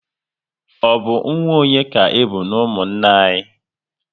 Ọ bụ nwa onye ka ịbụ n'umunna anyị?